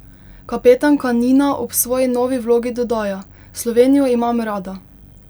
Kapetanka Nina ob svoji novi vlogi dodaja: 'Slovenijo imam rada.